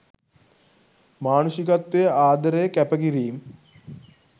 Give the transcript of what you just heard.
මානුෂිකත්වය ආදරය කැප කිරීම්